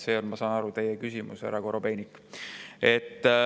See on, ma saan aru, teie küsimus, härra Korobeinik.